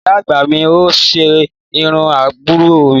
Ìyá àgbà mi ni ó ṣe irú àbúrò mi